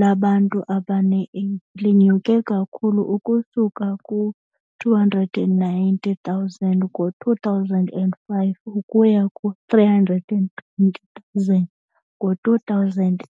labantu abane-AIDS lenyuka ukusuka ku-290,000 ngo-2005 ukuya ku-320,000 ngo-2013.